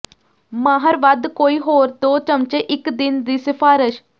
ਮਾਹਰ ਵੱਧ ਕੋਈ ਹੋਰ ਦੋ ਚਮਚੇ ਇੱਕ ਦਿਨ ਦੀ ਸਿਫਾਰਸ਼